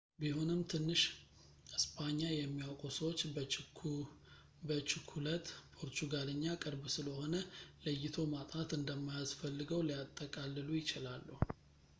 ቢሆንም ትንሽ እስጳኛ የሚያውቁ ሰዎች በችኩለት ፖርቹጋልኛ ቅርብ ስለሆነ ለይቶ ማጥናት እንደማያስፈልገው ሊያጠቃልሉ ይችላሉ